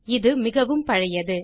இது மிகவும் பழையது